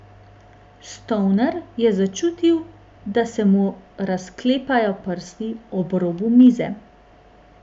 Stoner je začutil, da se mu razklepajo prsti ob robu mize.